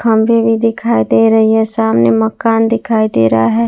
खंभे भी दिखाई दे रही है सामने मकान दिखाई दे रहा है।